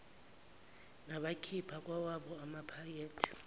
nabakhipha kwawabo amaphakethe